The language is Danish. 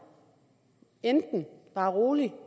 bare rolig